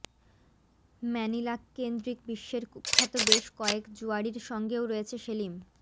ম্যানিলাকেন্দ্রিক বিশ্বের কুখ্যাত বেশ কয়েক জুয়াড়ির সঙ্গেও রয়েছে সেলিম